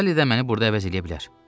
Sali də məni burada əvəz eləyə bilər.